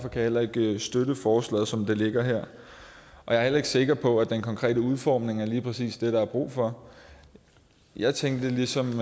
heller ikke støtte forslaget som det ligger her jeg er heller ikke sikker på at den konkrete udformning er lige præcis det der er brug for jeg tænkte ligesom